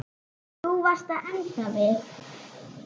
Þú varst að enda við.